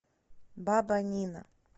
баба нина